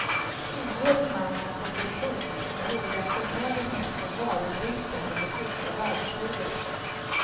Ingår i namnet på person som gjorde en förmögenhet på varubristen under första världskriget.